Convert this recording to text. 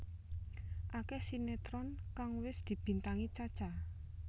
Akeh sinetron kang wis dibintangi Cha Cha